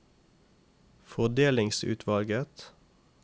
fordelingsutvalget